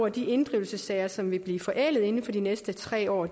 at de inddrivelsessager som vil blive forældet inden for de næste tre år